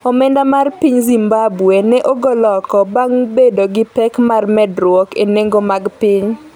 omenda mar piny Zimbabwe ne ogol oko bang' bedo gi pek mar medruok e nengo mag piny.